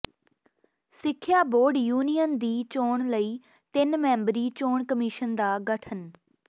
ਸਿੱਖਿਆ board union ਦੀ ਚੋਣ ਲਈ ਤਿੰਨ ਮੈਂਬਰੀ ਚੋਣ ਕਮਿਸ਼ਨ ਦਾ ਗਠਨ